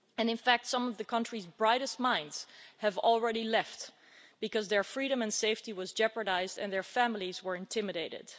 In fact some of the country's brightest minds have already left, because their freedom and safety was jeopardised and their families were intimidated.